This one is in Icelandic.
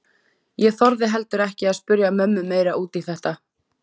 Ég þorði heldur ekki að spyrja mömmu meira út í þetta.